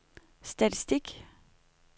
statistik